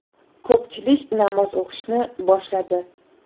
Ko‘pchilik namoz o‘qishni boshladi.